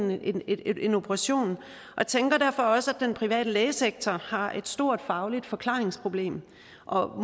en operation og tænker derfor også at den private lægesektor har et stort fagligt forklaringsproblem